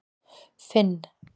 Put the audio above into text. Finn